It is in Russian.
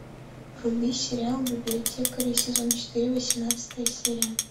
вруби сериал библиотекари сезон четыре восемнадцатая серия